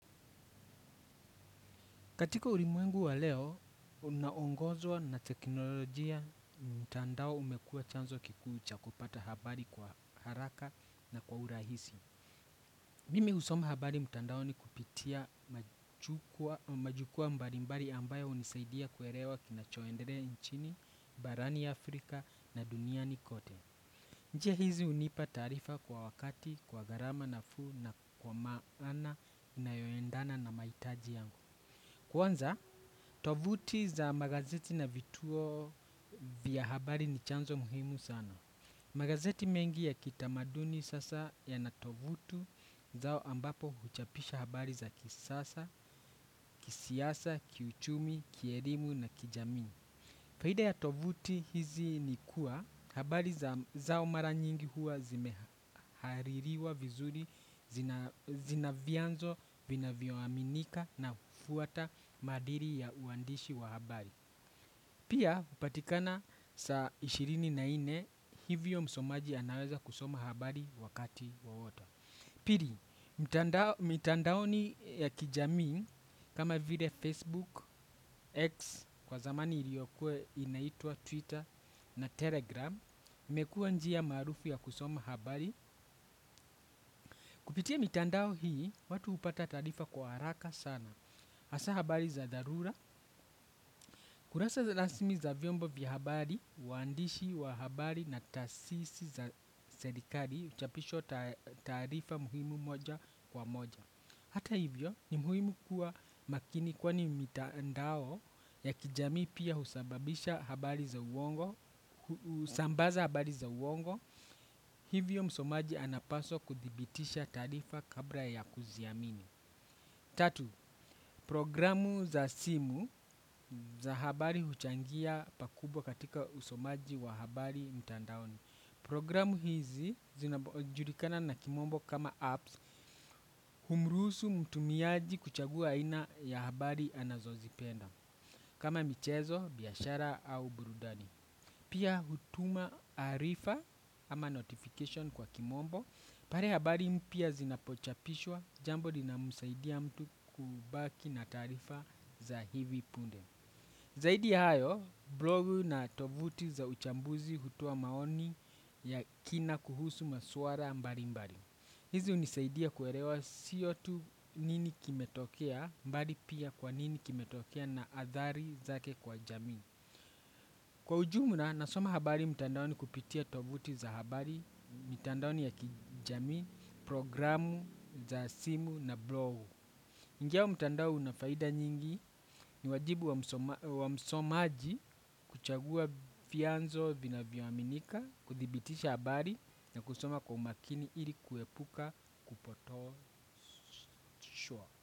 Katika ulimwengu wa leo, unaongozwa na teknolojia mtandao umekuwa chanzo kikuu cha kupata habari kwa haraka na kwa urahisi. Mimi husoma habari mtandaoni kupitia majukwaa mbalimbali ambayo hunisaidia kuelewa kinachoendelea nchini, barani Afrika na duniani kote. Njia hizi hunipa taarifa kwa wakati, kwa garama nafuu na kwa maana inayoendana na mahitaji yangu. Kwanza, tovuti za magazeti na vituo vya habari ni chanzo muhimu sana. Magazeti mengi ya kitamaduni sasa yana tovutu zao ambapo huchapisha habari za kisasa, kisiasa, kiuchumi, kielimu na kijamii. Faida ya tovuti hizi ni kuwa habari zao mara nyingi huwa zimehaririwa vizuri zina vianzo vinavyoaminika na hufuwata maadili ya uandishi wa habari. Pia hupatikana saa ishirini na ine hivyo msomaji anaweza kusoma habari wakati wawoto. Pili, mitandaoni ya kijamii kama vile Facebook, X kwa zamani iliyokuwa inaitwa Twitter na Telegram. Imekuwa njia maarufu ya kusoma habari. Kupitia mitandao hii, watu hupata taarifa kwa haraka sana. Hasa habari za dharura, kurasa rasimi za vyombo vya habari, waandishi wa habari na taasisi za serikali, huchapishwa taarifa muhimu moja kwa moja. Hata hivyo ni muhimu kuwa makini kwani mitandao ya kijamii pia husababisha habari za uongo, husambaza habari za uongo. Hivyo msomaji anapaswa kudhibitisha taarifa kabla ya kuziamini. Tatu, progiramu za simu za habari huchangia pakubwa katika usomaji wa habari mtandaoni. Progiramu hizi zinajulikana na kimombo kama apps humruhusu mtumiaji kuchagua aina ya habari anazo zipenda kama michezo, biashara au burudani. Pia hutuma arifa ama notification kwa kimombo pale habari mpya zinapochapishwa jambo lina musaidia mtu kubaki na taarifa za hivi punde. Zaidi hayo, blogu na tovuti za uchambuzi hutoa maoni ya kina kuhusu maswala mbali mbali. Hizi hunisaidia kuelewa siyo tu nini kimetokea bali pia kwa nini kimetokea na athari zake kwa jamii. Kwa ujumla nasoma habari mtandaoni kupitia tovuti za habari, mitandaoni ya kijamii, progiramu za simu na blogu. Ingawa mtandao una faida nyingi ni wajibu wa msomaji kuchagua vianzo vina vyoaminika, kudhibitisha habari na kusoma kwa umakini ili kuepuka kupotoshwa.